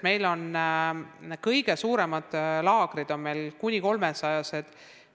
Meil on kõige suuremad laagrid kavandatud kuni 300 osalejale.